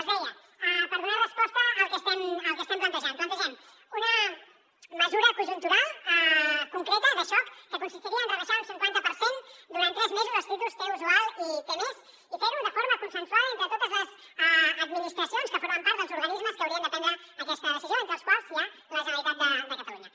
els deia per donar resposta al que estem plantejant plantegem una mesura conjuntural concreta de xoc que consistiria en rebaixar un cinquanta per cent durant tres mesos els títols t usual i t mes i fer ho de forma consensuada entre totes les administracions que formen part dels organismes que haurien de prendre aquesta decisió entre els quals hi ha la generalitat de catalunya